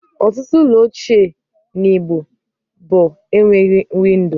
Ọtụtụ ụlọ ochie na igbo bụ enweghị windo